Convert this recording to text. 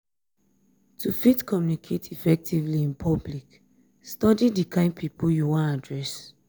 to fit communicate effectively in public study di kind pipo you won address